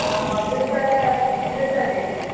ଓହୋ! ଚୁଡିଦାର ଚୁଡିଦାର ଦେଇଛୁ ବୋଧେ?